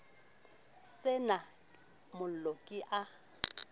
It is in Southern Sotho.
se na mollo ke a